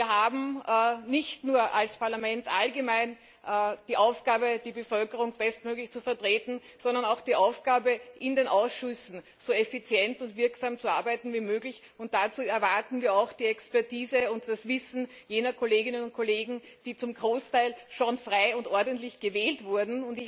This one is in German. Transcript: Wir haben als Parlament nicht nur ganz allgemein die Aufgabe, die Bevölkerung bestmöglich zu vertreten, sondern auch die Aufgabe, in den Ausschüssen so effizient und wirksam zu arbeiten wie möglich, und dazu erwarten wir auch die Expertise und das Wissen jener Kolleginnen und Kollegen, die zum Großteil schon frei und ordnungsgemäß gewählt wurden.